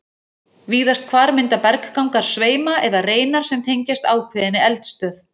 Víðast hvar mynda berggangar sveima eða reinar sem tengjast ákveðinni eldstöð.